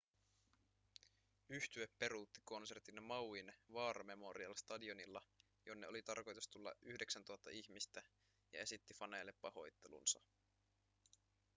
yhtye peruutti konsertin mauin war memorial stadionilla jonne oli tarkoitus tulla 9 000 ihmistä ja esitti faneille pahoittelunsa